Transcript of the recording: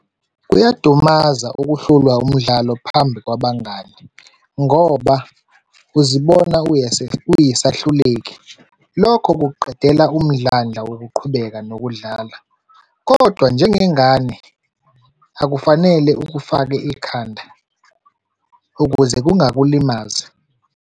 Kuyadumaza ukuhlulwa umdlalo phambi kwabangani ngoba uzibona uyisahluleki. Lokho kukuqedela umdlandla yokuqhubeka nokudlala, kodwa njengengane akufanele ukufake ekhanda, ukuze kungalimazi.